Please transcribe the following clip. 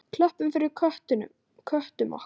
Klöppum fyrir köttum okkar!